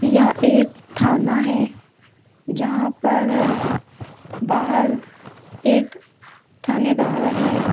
यह एक थाना है जहां पर बाहर एक थानेदार है।